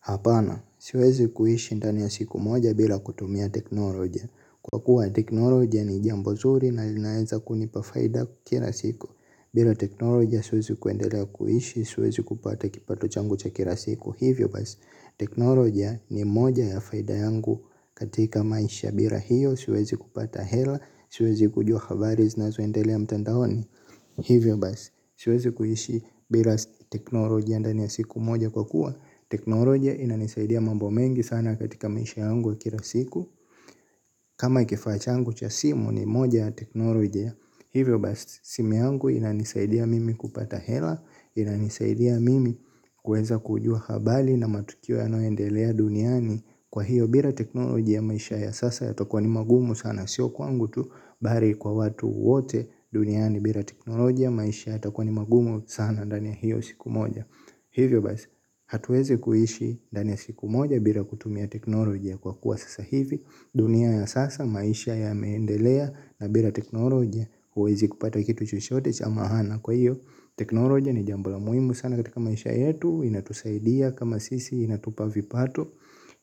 Hapana, siwezi kuishi ndani ya siku moja bila kutumia teknoloja. Kwa kuwa teknoloja ni jambo zuri na linaeza kunipa faida kila siku. Bila teknoloja, siwezi kuendelea kuishi, siwezi kupata kipato changu cha kila siku. Hivyo basi, teknolojia ni moja ya faida yangu katika maisha. Bila hiyo, siwezi kupata hela, siwezi kujua habari zinazoendelea mtandaoni. Hivyo basi, siwezi kuishi bila teknolojia ndani ya siku moja kwa kuwa. Teknolojia inanisaidia mambo mengi sana katika maisha yangu ya kila siku. Kama hii kifaa changu cha simu ni moja ya teknolojia. Hivyo basi simu yangu inanisaidia mimi kupata hela. Inanisaidia mimi kuweza kujua habari na matukio yanaoendelea duniani. Kwa hiyo bila teknolojia maisha ya sasa yatakua ni magumu sana. Sio kwangu tu bali kwa watu wote duniani bila teknolojia maisha yatakua ni magumu sana ndani ya hiyo siku moja. Hivyo basi, hatuwezi kuishi ndani ya siku moja bila kutumia teknolojia kwa kuwa sasa hivi. Dunia ya sasa, maisha yameendelea na bila teknolojia huwezi kupata kitu chochote cha maana. Kwa hiyo, teknolojia ni jambo la muhimu sana katika maisha yetu, inatusaidia kama sisi, inatupa vipato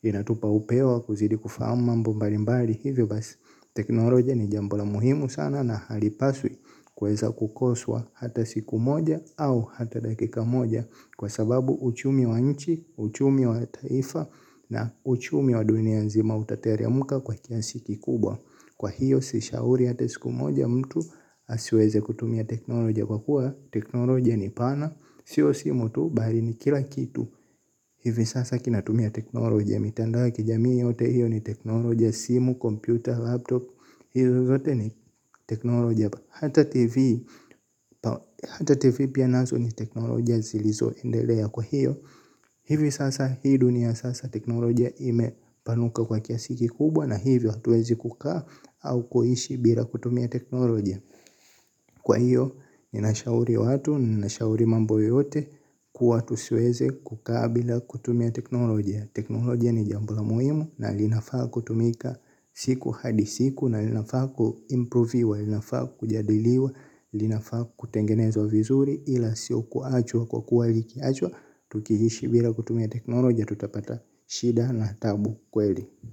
inatupa upewa wa kuzidi kufahama mbalimbali. Hivi basi, teknolojia ni jambo la muhimu sana na halipaswi kueza kukoswa hata siku moja au hata dakika moja kwa sababu uchumi wa nchi, uchumi wa taifa na uchumi wa dunia nzima utateremka kwa kiasi kikubwa. Kwa hiyo sishauri hata siku moja mtu asiweze kutumia teknolojia kwa kuwa teknolojia ni pana. Sio simu tu bali ni kila kitu hivi sasa kinatumia teknolojia mitandao ya kijamii yote hiyo ni teknolojia simu, kompyuta, laptop. Hiyo yote ni teknoloja hata tv hata tv pia nazo ni teknoloja zilizoendelea kwa hiyo. Hivi sasa hii dunia ya sasa teknolojia imepanuka kwa kiasi kikubwa na hivi hatuwezi kukaa au kuishi bila kutumia teknolojia. Kwa hiyo ninashauri watu, ninashauri mambo yote kuwa tusiweze kukaa bila kutumia teknolojia. Teknolojia ni jambo la muhimu na linafaa kutumika siku hadi siku na linafaa kuimproviwa, linafaa kujadiliwa linafaa kutengenezwa vizuri ila sio kuachwa kwa kuwa ikiachwa tukiishi bila kutumia teknolojia tutapata shida na taabu kweli.